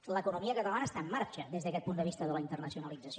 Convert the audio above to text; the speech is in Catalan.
l’economia catalana està en marxa des d’aquest punt de vista de la internacionalització